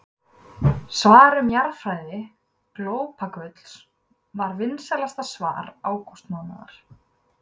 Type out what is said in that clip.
Svar um jarðfræði glópagulls var vinsælasta svar ágústmánaðar.